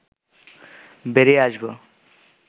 বেরিয়ে আসব